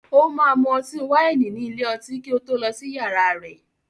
O máa mu ọtí wáìnì ní ilé-ọtí kí ó tó lọ sí yàrá rẹ̀.